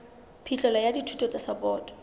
phihlelo ya dithuso tsa sapoto